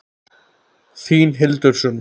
Þín Hildur Sunna.